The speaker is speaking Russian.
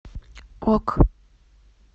ок